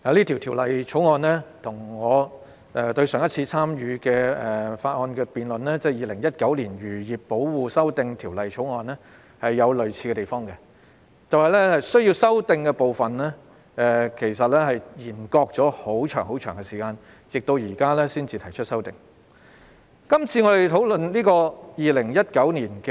《條例草案》跟我上一次也有參與辯論的《2019年漁業保護條例草案》有相似之處，那就是政府當局是把修例工作延擱了很長的一段時間，直至現時才就須予修改的部分提出修訂建議。